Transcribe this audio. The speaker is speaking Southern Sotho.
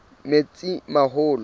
metsimaholo